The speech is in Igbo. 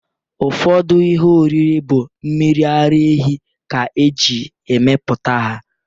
Ụfọdụ ihe oriri bụ mmiri ara ehi ka e ji emepụta ha.